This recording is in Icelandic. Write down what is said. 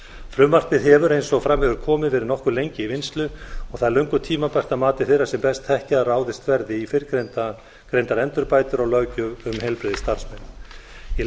frumvarpið hefur eins og fram hefur komið verið nokkuð lengi í vinnslu og það er löngu tímabært að mati þeirra sem best þekkja að ráðist verði í fyrrgreindar endurbætur á löggjöf um heilbrigðisstarfsmenn ég